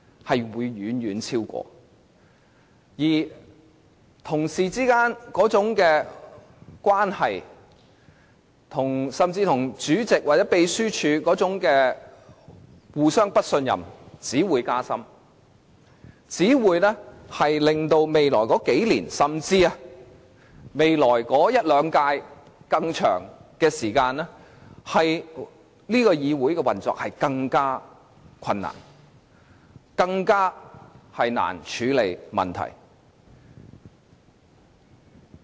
此外，議員之間，甚至是議員與主席或秘書處之間的互不信任只會加深，令本會的運作在未來數年、一兩屆甚或長遠而言變得更困難，更難處理問題。